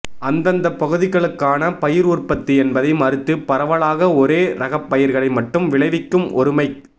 அந்தந்தப் பகுதிகளுக்கான பயிர் உற்பத்தி என்பதை மறுத்து பரவலாக ஒரே ரகப் பயிர்களை மட்டும் விளைவிக்கும் ஒருமைக்